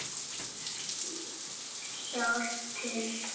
Hjálpað til!